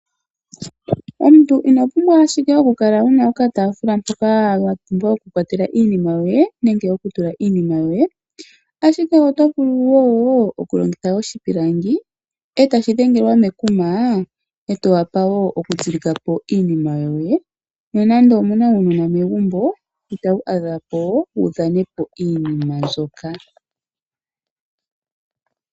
Omuntu ino pumbwa ashike oku kala wu na okataafula mpoka wa pumbwa okukwatela iinima yoye nenge okutula iinima yoye, ashike oto vulu wo okulongitha oshipilangi e tashi dhengelwa mekuma e to wapa wo okutsilika iinima yoye, nonando omu na uunona mmegumbo ita wu adha po wu dhane iinima mbyoka.